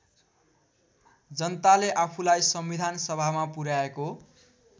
जनताले आफूलाई संविधानसभामा पुर्‍याएको